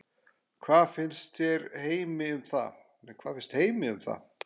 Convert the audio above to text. Hvað finnst Heimi um það?